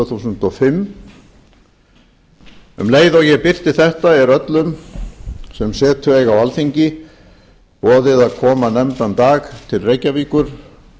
þúsund og fimm um leið og ég birti þetta er öllum sem setu eiga á alþingi boðið að koma nefndan dag til reykjavíkur